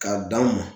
K'a dan mɔn